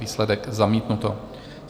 Výsledek: zamítnuto.